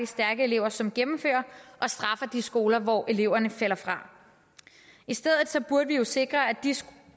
stærke elever som gennemfører og straffer de skoler hvor eleverne falder fra i stedet burde vi jo sikre at de skoler